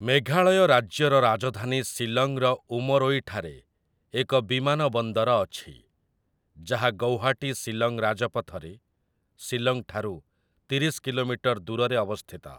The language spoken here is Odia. ମେଘାଳୟ ରାଜ୍ୟର ରାଜଧାନୀ ଶିଲଂର ଉମରୋଇ ଠାରେ ଏକ ବିମାନବନ୍ଦର ଅଛି, ଯାହା ଗୌହାଟୀ-ଶିଲଂ ରାଜପଥରେ ଶିଲଂଠାରୁ ତିରିଶ କିଲୋମିଟର ଦୂରରେ ଅବସ୍ଥିତ ।